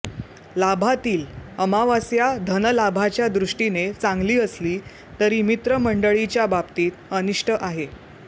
लाभातील अमावास्या धनलाभाच्या दृष्टीने चांगली असली तरी मित्रमंडळीच्या बाबतीत अनिष्ट आहे